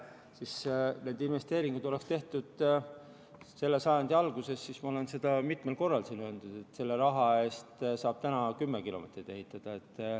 Kui need investeeringud oleks tehtud selle sajandi alguses, siis, ma olen seda mitmel korral siin öelnud, selle raha eest saaks täna ainult 10 kilomeetrit ehitada.